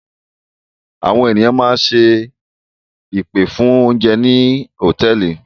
Àwọn ènìyàn máa ń ṣe ìpè fún oúnjẹ ní àwọn hòtẹ́ẹ́lì.